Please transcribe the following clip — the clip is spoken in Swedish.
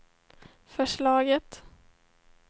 förslaget